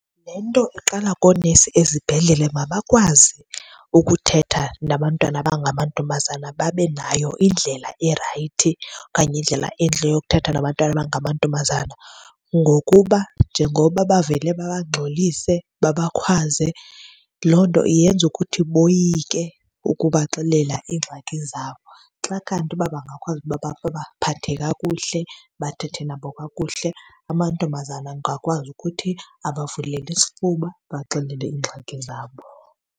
Le nto iqala koonesi ezibhedlele, mabakwazi ukuthetha nabantwana abangamantombazana babe nayo indlela erayithi okanye indlela entle yokuthetha nabantwana abangamantombazana. Ngokuba njengoba bavele babangxolise, babakhwaze, loo nto yenza ukuthi boyike ukubaxelela iingxaki zabo. Xa kanti uba bangakwazi ukuba babaphathe kakuhle, bathethe nabo kakuhle, amantombazana angakwazi ukuthi abavulele isifuba babaxelele iingxaki zabo.